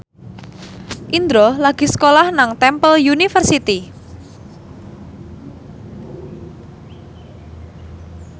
Indro lagi sekolah nang Temple University